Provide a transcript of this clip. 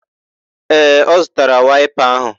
Ee, ọ zụtara waịpa áhụ̀